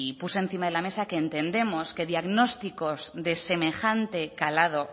puse encima de la mesa que entendemos que diagnósticos de semejante calado